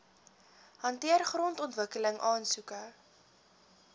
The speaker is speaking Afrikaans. hanteer grondontwikkeling aansoeke